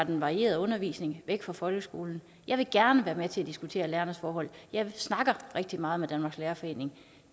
den varierede undervisning fra folkeskolen jeg vil gerne være med til at diskutere lærernes forhold jeg snakker rigtig meget med danmarks lærerforening